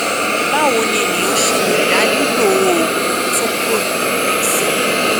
báwo ni ènìyàn ṣe lè dá lílo oògùn toprol xl